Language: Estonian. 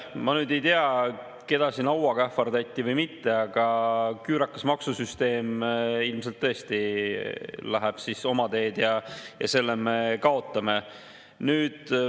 Ma nüüd ei tea, keda siin hauaga ähvardati või mitte, aga küürakas maksusüsteem ilmselt tõesti läheb oma teed ja selle me kaotame.